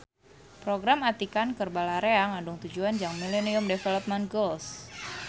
Program atikan keur balarea ngandung tujuan jang Millenium Development Goals